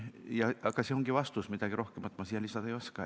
See ongi vastus, midagi rohkemat ma siia lisada ei oska.